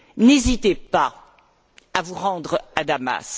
N'hésitez pas à vous rendre à Damas.